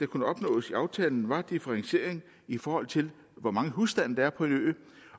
kunne opnås i aftalen var differentiering i forhold til hvor mange husstande der er på en ø